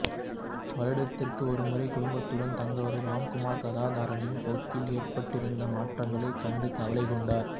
வருடத்திற்கொரு முறை குடும்பத்தினருடன் தங்க வரும் ராம்குமார் கதாதரனின் போக்கில் ஏற்பட்டிருந்த மாற்றங்களைக் கண்டு கவலை கொண்டார்